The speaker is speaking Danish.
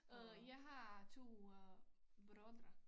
Øh jeg har 2 øh brødre